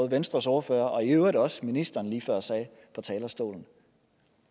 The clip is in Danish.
venstres ordfører og i øvrigt også ministeren lige før sagde fra talerstolen